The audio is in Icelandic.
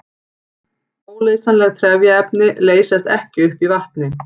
Óleysanleg trefjaefni leysast ekki upp í vatni.